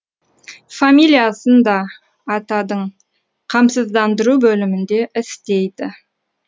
фамилиясын да атадың қамсыздандыру бөлімінде істейді